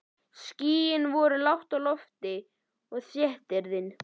Skýin voru lágt á lofti og þéttriðin.